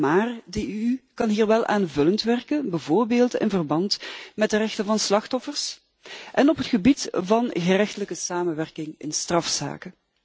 Maar de EU kan hier wel aanvullend werken, bijvoorbeeld in verband met de rechten van slachtoffers en op het gebied van gerechtelijke samenwerking in strafzaken.